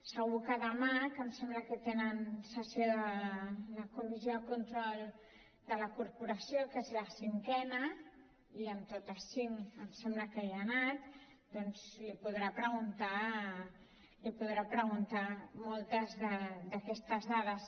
segur que demà que em sembla que tenen sessió de la comissió de control de la corporació que és la cinquena i en tots cinc em sembla que hi ha anat doncs li podrà preguntar moltes d’aquestes dades